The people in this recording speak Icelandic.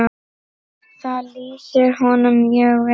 Það lýsir honum mjög vel.